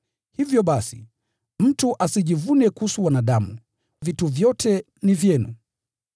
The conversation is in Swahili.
Hivyo basi, mtu asijivune kuhusu wanadamu! Vitu vyote ni vyenu,